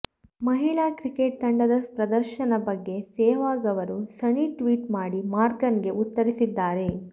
ಮಹಿಳಾ ಕ್ರಿಕೆಟ್ ತಂಡದ ಪ್ರದರ್ಶನದ ಬಗ್ಗೆ ಸೆಹ್ವಾಗ್ ಅವರು ಸಣಿ ಟ್ವೀಟ್ ಮಾಡಿ ಮಾರ್ಗನ್ ಗೆ ಉತ್ತರಿಸಿದ್ದಾರೆ